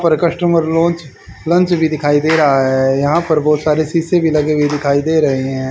पर customer lounge lunch भी दिखाई दे रहा है यहां पर बहोत सारे शीशे भी लगे हुए दिखाई दे रहे हैं।